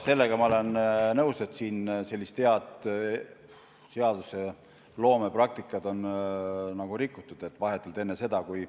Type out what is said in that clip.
Sellega ma olen nõus, et siin on sellist head seadusloomepraktikat rikutud.